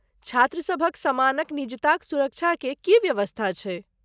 छात्र सभक समानक निजताक सुरक्षाके की व्यवस्था छै?